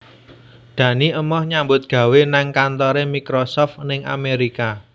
Dani emoh nyambut gawe nang kantore Microsoft ning Amerika